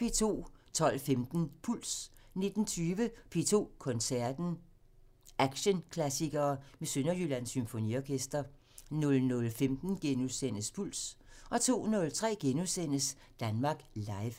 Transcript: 12:15: Puls 19:20: P2 Koncerten – Action-klassikere med Sønderjyllands Symfoniorkester 00:15: Puls * 02:03: Danmark Live *